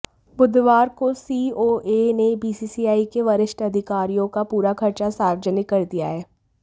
बुधवार को सीओए ने बीसीसीआई के वरिष्ठ अधिकारियों का पूरा खर्चा सार्वजनिक कर दिया है